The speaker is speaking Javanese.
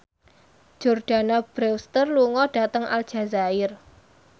Jordana Brewster lunga dhateng Aljazair